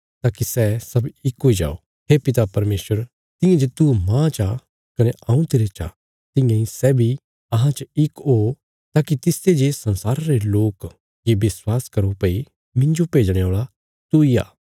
ताकि सै सब इक हुई जाओ हे पिता परमेशर तियां जे तू मांह चा कने हऊँ तेरे चा तियां इ सै बी अहां च इक ओ ताकि तिसते जे संसारा रे लोक ये विश्वास करो भई मिन्जो भेजणे औल़ा तूई आ